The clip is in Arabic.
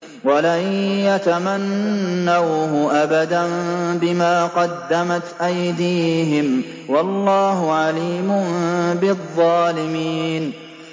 وَلَن يَتَمَنَّوْهُ أَبَدًا بِمَا قَدَّمَتْ أَيْدِيهِمْ ۗ وَاللَّهُ عَلِيمٌ بِالظَّالِمِينَ